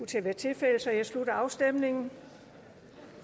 til at være tilfældet så jeg slutter afstemningen